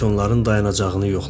Faytonların dayanacağını yoxladı.